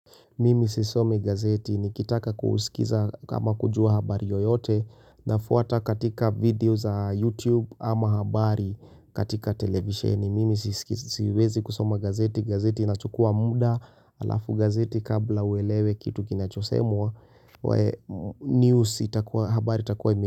Mimi sisomi gazeti ni kitaka kuuskiza kama kujua habari yoyote na fuata katika video za YouTube ama habari katika televisheni. Mimi siskisiwezi kusoma gazeti, gazeti inachukua muda, alafu gazeti kabla uelewe kitu kinachosemwa, news itakua, habari itakua ime.